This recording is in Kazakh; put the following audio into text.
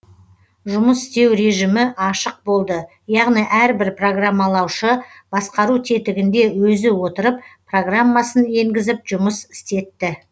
жұмыс істеу режімі ашық болды яғни әрбір программалаушы басқару тетігінде өзі отырып программасын енгізіп жұмыс істетті